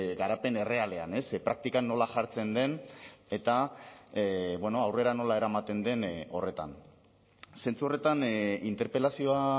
garapen errealean praktikan nola jartzen den eta aurrera nola eramaten den horretan zentzu horretan interpelazioa